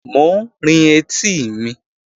Mò ń rin etí mi